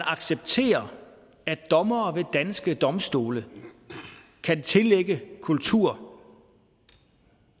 accepterer at dommere ved danske domstole kan tillægge kultur